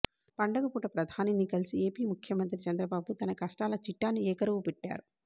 పండగపూట ప్రధానిని కలిసి ఏపీ ముఖ్యమంత్రి చంద్రబాబు తన కష్టాల చిట్టాను ఏకరువు పెట్టారు